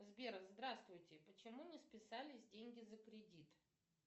сбер здравствуйте почему не списались деньги за кредит